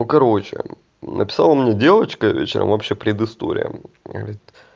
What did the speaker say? ну короче написала мне девочка вечером вообще пред история вот